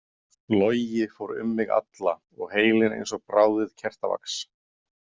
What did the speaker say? Logi fór um mig alla og heilinn eins og bráðið kertavax.